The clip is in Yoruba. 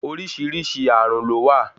Oríṣìíríṣìí ààrùn lówà.